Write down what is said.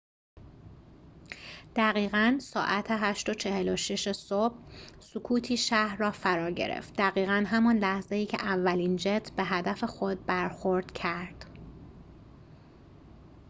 دقیقاً ساعت ۸:۴۶ صبح سکوتی شهر را فرا گرفت دقیقاً همان لحظه‌ای که اولین جت به هدف خود برخورد کرد